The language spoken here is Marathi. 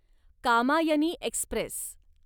कामायनी एक्स्प्रेस